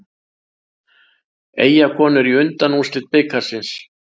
Eyjakonur í undanúrslit bikarsins